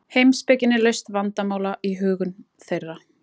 Heimspekin er lausn vandamála í hugum þeirra.